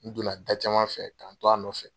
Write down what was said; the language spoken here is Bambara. N donna da caman fɛ k'an to a nɔfɛ.